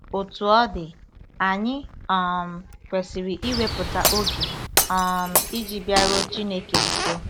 Otú ọ dị, anyị um kwesịrị iwepụta oge um iji bịaruo Chineke nso.